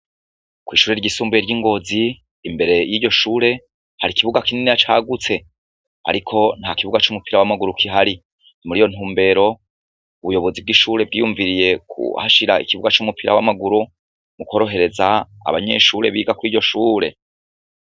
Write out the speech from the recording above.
Kw'ishure ryisumbuye ry'i Ngozi, imbere y'iryo shure, hari ikibuga kininiya cagutse, ariko nta kibuga c'umupira w'amaguru kihari, ni muri iyo ntumbero ubuyobozi bw'ishure bwiyumviriye kuhashira ikibuga c'umupira w'amaguru, mukorohereza abanyeshure biga kuri iryo shure.